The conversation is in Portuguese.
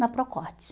Na Procortes.